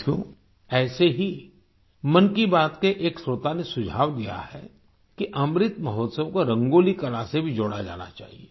साथियो ऐसे ही मन की बात के एक श्रोता ने सुझाव दिया है कि अमृत महोत्सव को रंगोली कला से भी जोड़ा जाना चाहिए